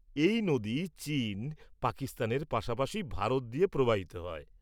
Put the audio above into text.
এই নদী চীন, পাকিস্তানের পাশাপাশি ভারত দিয়ে প্রবাহিত হয়।